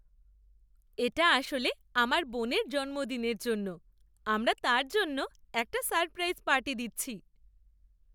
এটা আসলে আমার বোনের জন্মদিনের জন্য। আমরা তার জন্য একটা সারপ্রাইজ পার্টি দিচ্ছি।